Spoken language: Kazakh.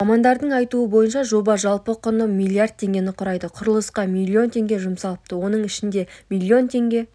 мамандардың айтуынша жобаның жалпы құны млрд теңгені құрайды құрылысқа млн теңге жұмсалыпты оның ішінде млн теңге